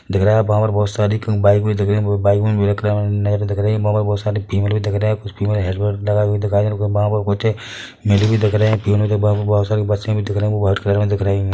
दिख रहा वहाँ पर बहुत सारी बाइक दिख रही है बहुत बाइक रख रहे है वहाँ पर बहोत सारी फीमेल भी दिख रहे कुछ फीमेल हेलमेट लगाए हुए दिखाई दे रहे है कुछ दिख रहे है के पास बहोत सारी बसे भी दिख रही है वो वाइट कलर में दिख रही है।